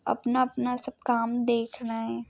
अपना अपना सब काम देख रहे है।